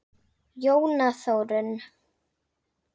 Jóna Þórunn.